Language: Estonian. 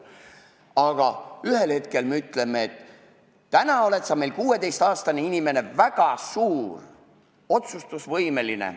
Samas teisalt me ütleme, et kui sa oled 16-aastane inimene, siis oled sa juba suur, oled otsustusvõimeline.